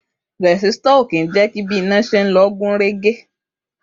Rẹ̀sítọ̀ lòdì ṣí siṣan iná